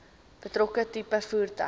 betrokke tipe voertuig